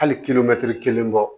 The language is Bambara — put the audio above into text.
Hali kelen bɔ